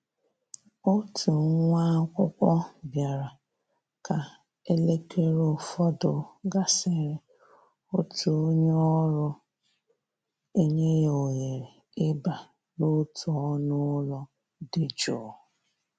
Òtù nwá ákwụ́kwọ́ bịara ka élékéré ụfọdụ gàsị́rị̀, òtù ónyé ọ́rụ́ enyè yá òhéré ì bà n'òtù ọ́nụ́ ụ́lọ́ dị jụ́ụ́.